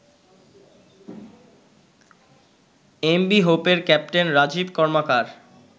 MV হোপের captain Rajib কর্মকার